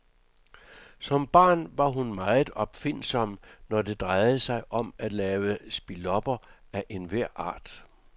Som barn var hun meget opfindsom, når det drejede sig om at lave spilopper af enhver art.